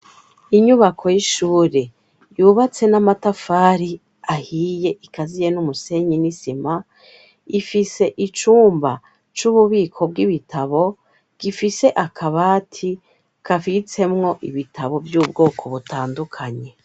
Inyubako y'ishure yubatse n'amatafari ahiye ikaziye n'umusenyi n'isima ifise icumba c'ububiko bw'ibitabo gifise akabati kafitsemwo ibitabo vy'ubwoko butandukanyi.